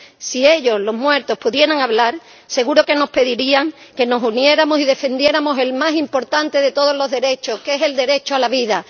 Si ellos, los muertos, pudieran hablar, seguro que nos pedirían que nos uniéramos y defendiéramos el más importante de todos los derechos, que es el derecho a la vida.